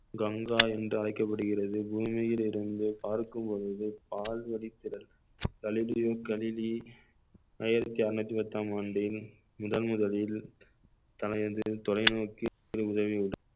கங்கா என்று அழைக்கப்படுகிறது பூமியிலிருந்து பார்க்கும் பொழுது பால்வழி திறன் ஆயிரத்தி அறுநூத்தி பத்தாம் ஆண்டின் முதன்முதலில் தனது தொலைநோக்கு